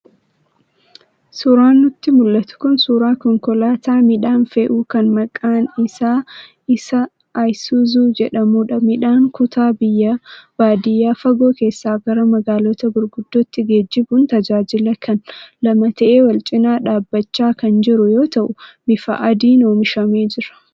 Suuraan nutti mul'atu kun suuraa Konkolaataa midhaan fe'uu kan maqaan isaa'isuzi'jedhamudha. Midhaan kutaa biyyaa baadiyaa fagoo keessaa gara magaalota gurguddootti geejjibuun tajaajila kenna. lama ta'ee wal-cinaa dhaabachaa kan jiru yoo ta'u bifa adiin oomishamee jira.